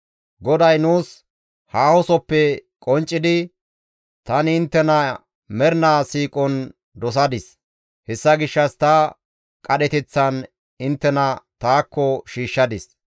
GODAY nuus haahosoppe qonccidi, «Tani inttena mernaa siiqon dosadis; hessa gishshas ta qadheteththan inttena taakko shiishshadis.